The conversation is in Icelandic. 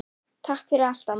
Takk fyrir allt, amma.